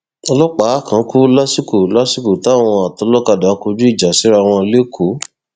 ọlọpàá kan kú lásìkò lásìkò táwọn atọlọkadà kọjú ìjà síra wọn lẹkọọ